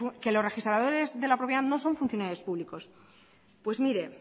que los registradores de la propiedad no son funcionarios públicos pues mire